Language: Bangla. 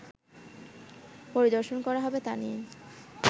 পরিদর্শন করা হবে তা নিয়ে